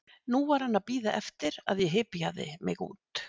Nú var hann að bíða eftir að ég hypjaði mig út.